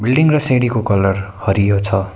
Railing र सिडीको colour हरियो छ।